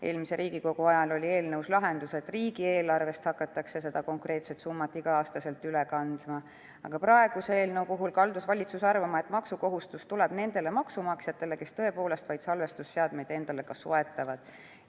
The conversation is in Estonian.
Eelmise Riigikogu ajal oli eelnõus lahendus, et seda konkreetset summat hakatakse igal aastal üle kandma riigieelarvest, aga praeguse eelnõu puhul kaldus valitsus arvama, et maksukohustus tuleb vaid nendele maksumaksjatele, kes tõepoolest salvestusseadmeid endale soetavad.